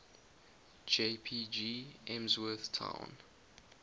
jpg emsworth town